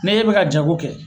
Ni e bɛ ka jago kɛ